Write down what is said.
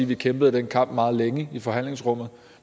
vi kæmpede den kamp meget længe i forhandlingsrummet